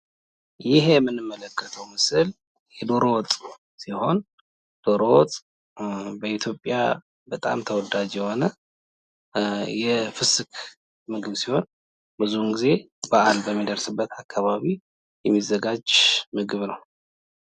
ይህ የምንመለከተው ምስል የደሮ ወጥ ሲሆን ደሮ ወጥ በኢትዮጵያ በጣም ተወዳጅ የሆነ የፍስክ ምግብ ሲሆን ብዙውን ጊዜ በአል በሚደርስበት አካባቢ የሚዘጋጅ ምግብ ነው።